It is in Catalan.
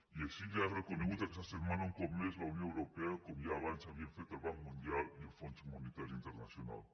i així li ho ha reconegut aquesta setmana un cop més la unió europea com ja abans havien fet el banc mundial i el fons monetari internacional